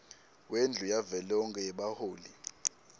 wendlu yavelonkhe yebaholi